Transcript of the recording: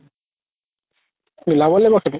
মিলাব লাগিব সেইটো